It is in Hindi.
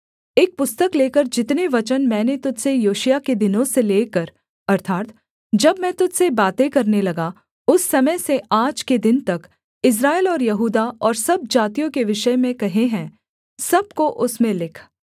एक पुस्तक लेकर जितने वचन मैंने तुझ से योशिय्याह के दिनों से लेकर अर्थात् जब मैं तुझ से बातें करने लगा उस समय से आज के दिन तक इस्राएल और यहूदा और सब जातियों के विषय में कहे हैं सब को उसमें लिख